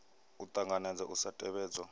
a ṱanganedza u sa tevhedzwa